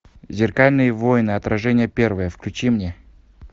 зеркальные войны отражение первое включи мне